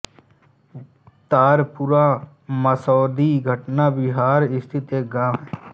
तारपुरा मसौढी पटना बिहार स्थित एक गाँव है